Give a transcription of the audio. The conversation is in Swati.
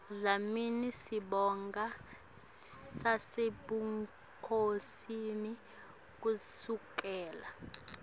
dlamini sibongo sasebukhosini kusukela